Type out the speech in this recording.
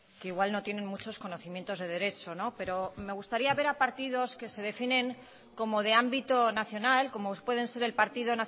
que igual no tienen muchos conocimientos de derecho pero me gustaría ver a partidos que se definen como de ámbito nacional como pueden ser el partido